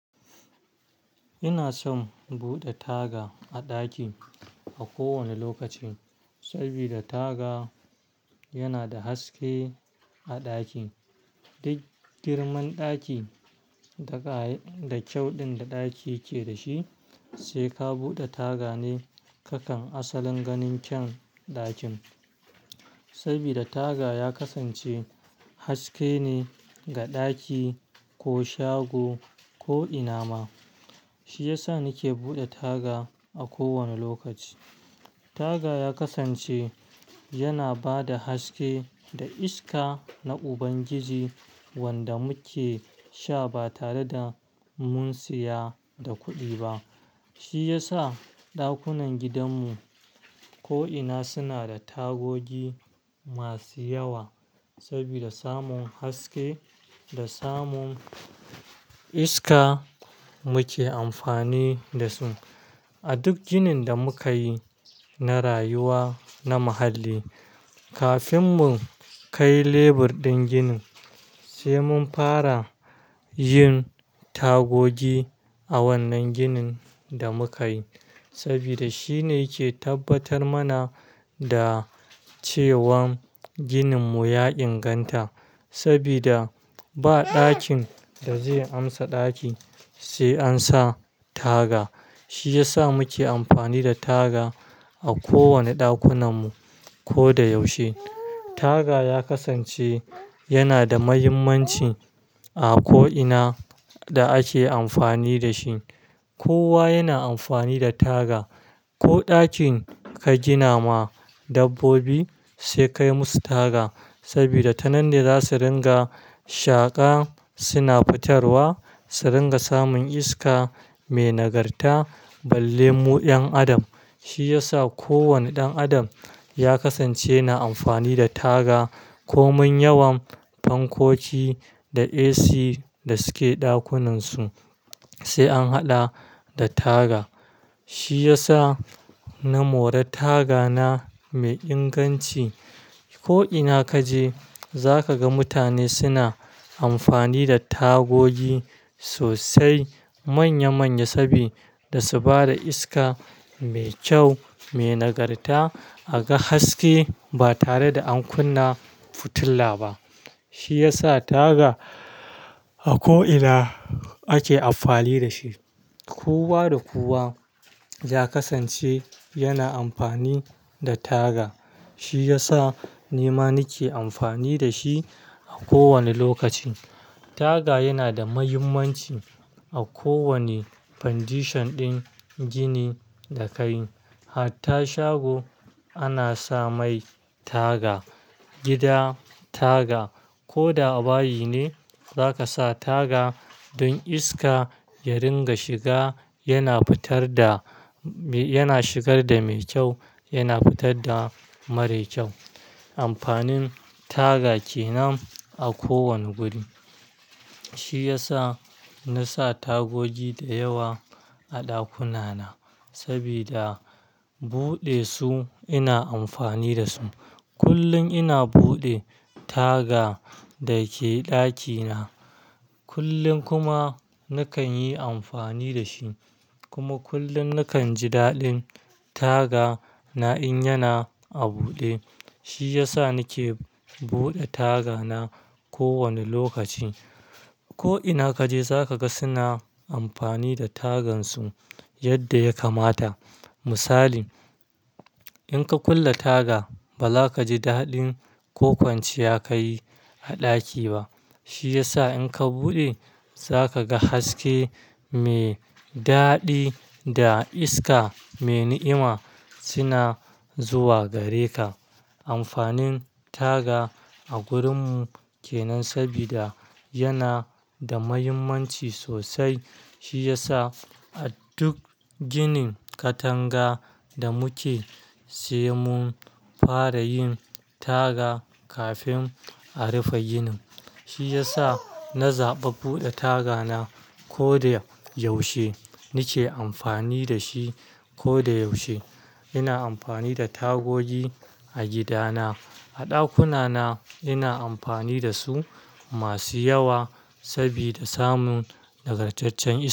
Ina son bude taga a ɗaki a kowane lokaci, sabida taga yana da haske a ɗaki. Duk girman ɗaki da kyau ɗin da ɗaki ke da shi, sai ka bude taga ne kakan asalin ganin kyan ɗakin. Sabida taga ya kasance haske ne ga ɗaki ko shago ko ina ma. Shi ya sa nike bude taga a kowane lokaci. Taga ya kasance yana ba da haske da iska na Ubangiji wanda muke sha ba tare da mun siya da kuɗi ba. Shi ya sa ɗakunan gidanmu ko ina suna da tagogi masu yawa, sabida samun haske da samun iska muke amfani da su. A duk ginin da muka yi na rayuwa na muhalli, kafin mun kai lebur ɗin ginin sai mun fara yin tagogi a wannan ginin da muka yi. Sabida shi ne yake tabbatar mana da cewan ginin mu ya inganta. Sabida ba ɗakin da zai amsa ɗaki sai an sa taga. Shi ya sa muke amfani da taga a kowane ɗakunan mu ko da yaushe. Taga ya kasance yana da muhimmanci a ko ina da ake amfani da shi. Kowa yana amfani da taga. Ko ɗakin ka gina ma dabbobi sai kai musu taga. Sabida tanan ne za su ringa shaƙa suna fitarwa, su ringa samun iska mai nagarta balle mu 'yan adam. Shi ya sa kowane ɗan adam ya kasance na amfani da taga. Komin yawan fankoki da AC da suke ɗakunansu sai an haɗa da taga. Shi ya sa na more taga na mai inganci. Ko ina kaje zaka ga mutane suna amfani da tagogi sosai manya manya sabida su ba da iska mai kyau, mai nagarta a ga haske ba tare da an kunna fitila ba. Shi ya sa taga a ko ina ake amfani da shi. Kowa da kowa ya kasance yana amfani da taga. Shi ya sa ni ma nake amfani da shi a kowane lokaci. Taga yana da mahimmanci a kowane foundation ɗin gini da ka yi. Hatta shago ana sa mai taga, gida taga. Ko da bayi ne za ka sa taga don iska ya ringa shiga yana fitar da, yana shigar da mai kyau yana fitar da mara kyau. Amfanin taga kenan a kowane guri. Shi ya sa na sa tagogi da yawa a ɗakuna na sabida bude su ina amfani da su. Kullum ina buɗe taga da ke ɗakina. Kullum kuma nakan yi amfani da shi, kuma kullum nakan ji daɗin taga na in yana a buɗe. Shi ya sa nake buɗe taga na kowane lokaci. Ko ina kaje za ka ga suna amfani da tagan su yadda ya kamata. Misali, in ka kulle taga ba za ka ji daɗin ƙoƙanci yaka yi a ɗaki ba. Shi ya sa in ka buɗe za ka ga haske mai daɗi da iska mai ni'ima suna zuwa gare ka. Amfanin taga a gurinmu kenan sabida yana da mahimmanci sosai. Shi ya sa a duk ginin katanga da muke sai mun fara yin taga kafin a rufe ginin. Shi ya sa na zaɓi buɗe taga na ko da yaushe. Nake amfani da shi ko da yaushe. Ina amfani da tagogi a gidana. A ɗakuna na ina amfani da su masu yawa sabida samun nagartaccen iska.